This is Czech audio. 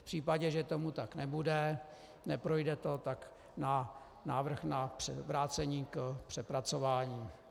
V případě, že tomu tak nebude, neprojde to, tak návrh na vrácení k přepracování.